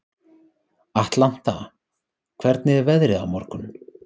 Atlanta, hvernig er veðrið á morgun?